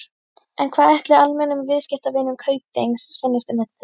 En hvað ætli almennum viðskiptavinum Kaupþings finnist um þetta tilboð?